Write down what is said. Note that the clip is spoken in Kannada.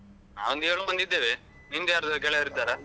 ಮತ್ತೆ ಒಂದ್ ನಾವೊಂದ್ ಏಳ್ ಮಂದಿ ಇದ್ದೇವೆ, ನಿಮ್ದ್ಯರಾದ್ರು ಗೆಳೆಯರು ಇದ್ದಾರಾ?